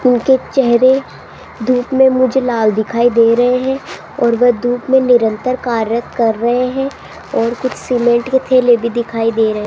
इनके चेहरे धूप में मुझे लाल दिखाई दे रहे हैं और वो धूप में निरंतर कार्य कर रहे हैं और कुछ सीमेंट के थैले भी दिखाई दे रहे हैं।